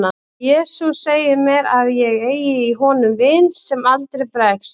jesús segir mér að ég eigi í honum vin sem aldrei bregst